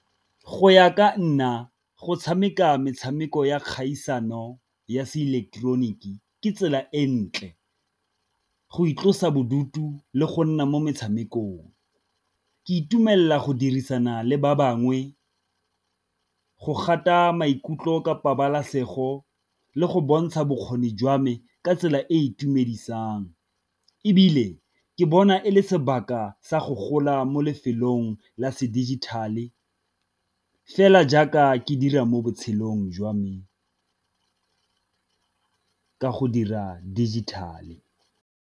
Go ya ka nna go tshameka metshameko ya kgaisano ya se ileketeroniki ke tsela e ntle, go itlosa bodutu le go nna mo metshamekong. Ke itumelela go dirisana le ba bangwe, go gata maikutlo ka pabalasego le go bontsha bokgoni jwa me ka tsela e e itumedisang. Ebile ke bona e le sa go gola mo lefelong la se digital e fela jaaka ke dira mo botshelong jwa me ka go dira digital-e.